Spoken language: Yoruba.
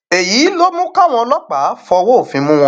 èyí ló mú káwọn ọlọpàá fọwọ òfin mú wọn